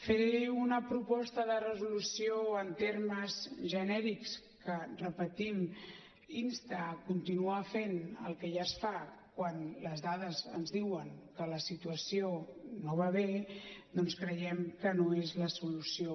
fer una proposta de resolució en termes genèrics que ho repetim insta a continuar fent el que ja es fa quan les dades ens diuen que la situació no va bé doncs creiem que no és la solució